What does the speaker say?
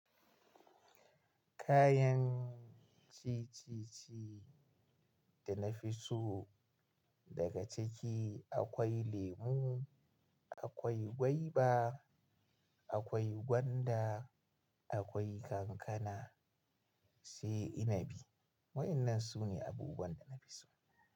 Kayan cicici da na fi so daga ciki akwai lemu, akwai gwaiba, akwai gwanda, akwai kankana sai inabi. Waɗannan su ne abubuwan da na fi so.